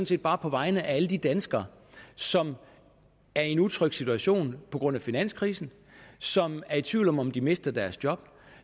set bare på vegne af alle de danskere som er i en utryg situation på grund af finanskrisen som er i tvivl om om de mister deres job